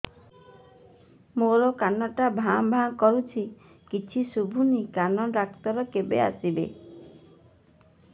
ମୋ କାନ ଟା ଭାଁ ଭାଁ କରୁଛି କିଛି ଶୁଭୁନି କାନ ଡକ୍ଟର କେବେ ଆସିବେ